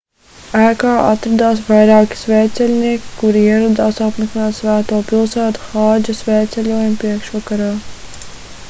ēkā atradās vairāki svētceļnieki kuri ieradās apmeklēt svēto pilsētu hādža svētceļojuma priekšvakarā